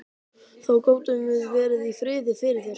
Þá gátum við verið í friði fyrir þér!